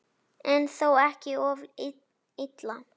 En þó ekki of illa.